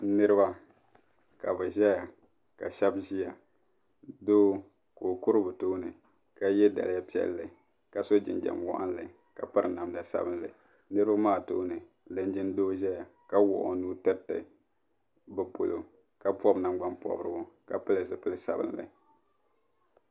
Niriba ka bɛ zaya ka sheba ʒia doo ka o ka ye daliya piɛlli ka so jinjiɛm waɣinli ka piri namda sabinli niriba maa tooni linjin'doo zaya wuɣi o nuu tirita bɛ polo ka bobi nangban pobirigu ka pili zipil'sabimli.